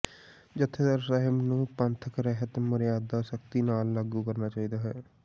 ਜੱਥੇਦਾਰ ਸਾਹਿਬ ਨੂੰ ਪੰਥਕ ਰਹਿਤ ਮਰਿਆਦਾ ਸਖਤੀ ਨਾਲ ਲਾਗੂ ਕਰਨੀ ਚਾਹੀਦੀ ਹੈ